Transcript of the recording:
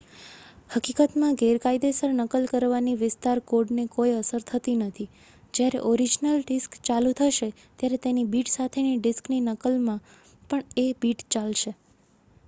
હકીકતમાં ગેરકાયદેસર નકલ કરવાની વિસ્તાર કોડને કોઈ અસર થતી નથી જયારે ઓરિજનલ ડિસ્ક ચાલુ થશે ત્યારે તેની બિટ સાથે ડિસ્કની નકલમાં પણ એ બિટ ચાલશે